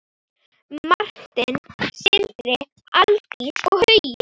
Martin, Sindri, Aldís og Hugi.